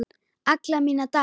Alla mína daga.